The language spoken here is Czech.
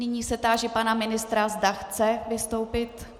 Nyní se táži pana ministra, zda chce vystoupit.